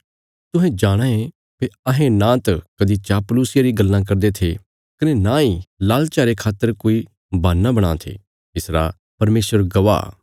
तुहें जाणाँ ये भई अहें नांत कदीं चापलुसिया री गल्लां करदे थे कने नांई लालचा रे खातर कोई बहान्ना बणां थे इसरा परमेशर गवाह